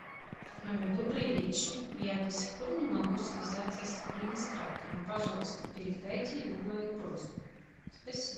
добрый вечер я до сих пор не могу связаться с администратором пожалуйста передайте ему мою просьбу спасибо